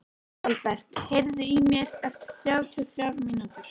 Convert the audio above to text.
Aðalbert, heyrðu í mér eftir þrjátíu og þrjár mínútur.